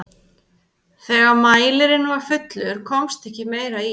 þegar mælirinn var fullur komst ekki meira í hann